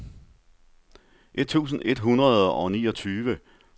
et tusind et hundrede og niogtyve